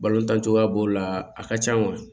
Balotancogoya b'o la a ka can wa